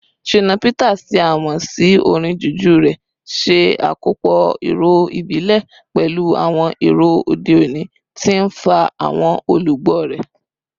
Shina Peters, tí a mọ̀ sí orin Juju rẹ̀, ṣe àkópọ̀ ìró ìbílẹ̀ pẹ̀lú àwọn ìró òde òní, tí ń fa àwọn olùgbọ́ ró.